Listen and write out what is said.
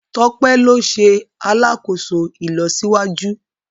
Tope ló ṣe alàkóso ìlọsíwájú